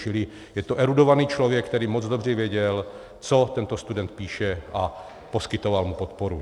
Čili je to erudovaný člověk, který moc dobře věděl, co tento student píše, a poskytoval mu podporu.